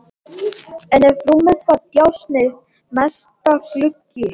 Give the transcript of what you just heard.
En yfir rúminu var djásnið mesta: gluggi.